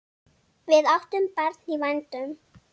Við áttum barn í vændum.